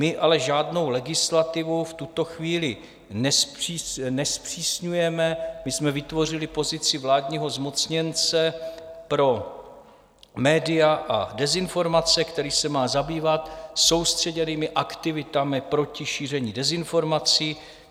My ale žádnou legislativu v tuto chvíli nezpřísňujeme, my jsme vytvořili pozici vládního zmocněnce pro média a dezinformace, který se má zabývat soustředěnými aktivitami proti šíření dezinformací.